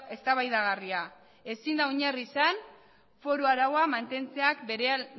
eztabaidagarria ezin da oinarri izan foru araua mantentzea